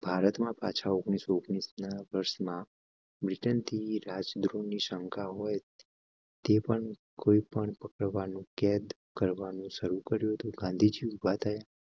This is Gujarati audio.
ભારત માં પાછા ઓગણીસો ઓગણીસ ના વર્ષમાં બ્રિટન થી રાજદ્રોહ ની શંકા હોય. તે પણ કોઈ પણ પકડવા નું કેદ કરવા નું શરૂ કર્યું તો ગાંધીજી ઉભા થયા